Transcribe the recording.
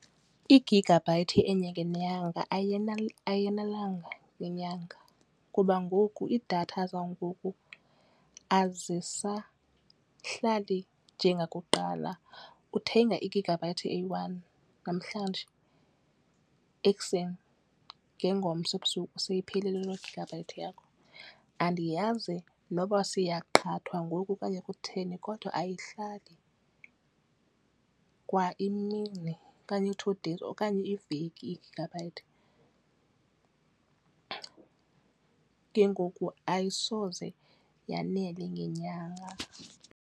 I-gigabyte enye ngenyanga ayanelanga ngenyanga kuba ngoku iidatha zangoku azisahlali njengakuqala. Uthenga i-gigabyte eyi-one namhlanje, ekuseni ngengomso ebusuku seyiphelile le-gigabyte yakho. Andiyazi noba siyaqhathwa ngoku okanye kutheni kodwa ayihlali kwa imini okanye, i-two days okanye iiveki i-gigabyte. Ke ngoku ayisoze yanele ngenyanga.